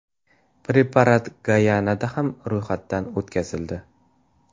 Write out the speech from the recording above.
Preparat Gayanada ham ro‘yxatdan o‘tkazildi.